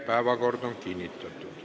Päevakord on kinnitatud.